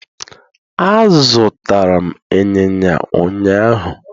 Azụtara m Ịnyịnya ụnyahụ